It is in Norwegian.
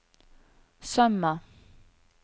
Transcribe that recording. Sømna